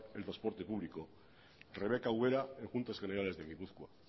el transporte público rebeca ubera en juntas generales de gipuzkoa